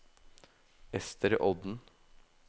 Ester Odden